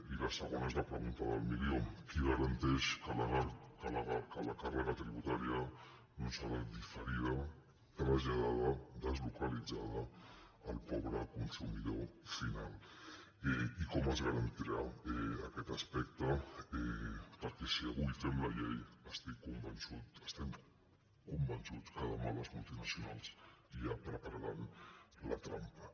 i la segona és la pregunta del milió qui garanteix que la càrrega tributària no serà diferida traslladada deslocalitzada al pobre consumidor final i com es garantirà aquest aspecte perquè si avui fem la llei estic convençut estem convençuts que demà les multinacionals ja prepararan la trampa